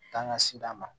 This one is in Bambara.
K'an ka si d'a ma